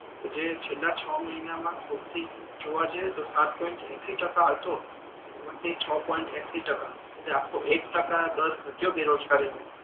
જે છેલ્લા છ મહિના મા સૌથી જોવા જઈએ તો સાત પોઈન્ટ એશી ટકા હતો એમાથી છ પોઈન્ટ એશી ટકા એટલે આખો એક ટકા દર ઘટ્યો બેરોજગારી નો